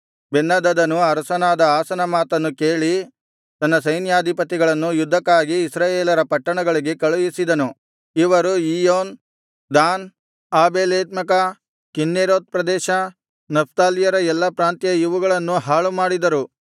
ಬೆನ್ಹದದನು ಅರಸನಾದ ಆಸನ ಮಾತನ್ನು ಕೇಳಿ ತನ್ನ ಸೈನ್ಯಾಧಿಪತಿಗಳನ್ನು ಯುದ್ಧಕ್ಕಾಗಿ ಇಸ್ರಾಯೇಲರ ಪಟ್ಟಣಗಳಿಗೆ ಕಳುಹಿಸಿದನು ಇವರು ಇಯ್ಯೋನ್ ದಾನ್ ಆಬೇಲ್ಬೇತ್ಮಾಕಾ ಕಿನ್ನೆರೋತ್ ಪ್ರದೇಶ ನಫ್ತಾಲ್ಯರ ಎಲ್ಲಾ ಪ್ರಾಂತ್ಯ ಇವುಗಳನ್ನು ಹಾಳುಮಾಡಿದರು